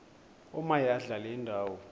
omaye adlale indawo